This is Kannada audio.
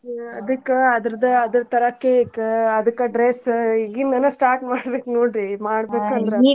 ಹಾ ಅದಕ್ಕ್ ಅದರ್ದ ಅದ್ರ ತರಾ cake ಅದ್ಕ dress ಈಗಿಂದನ start ಮಾಡ್ಬೇಕ್ ನೋಡ್ರಿ ಮಾಡ್ಬೇಕ್ ಅಂದ್ರ .